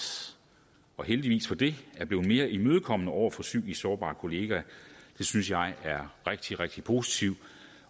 og heldigvis for det er blevet mere imødekommende over for psykisk sårbare kollegaer det synes jeg er rigtig rigtig positivt